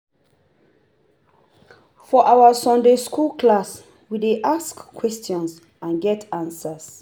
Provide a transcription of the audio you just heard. For our Sunday skool class, we dey ask ask questions and get answers